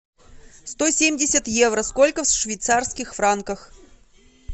сто семьдесят евро сколько в швейцарских франках